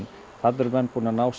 þarna eru menn búnir að ná